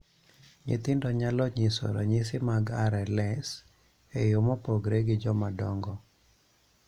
Nyithindo nyalo nyiso ranyisi mag RLS e yo mopogore gi jomadongo.